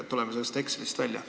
Ehk tuleme sellest Excelist välja.